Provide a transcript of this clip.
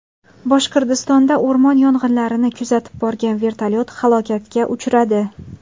Boshqirdistonda o‘rmon yong‘inlarini kuzatib borgan vertolyot halokatga uchradi.